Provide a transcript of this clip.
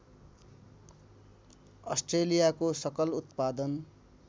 अस्ट्रेलियाको सकल उत्पादन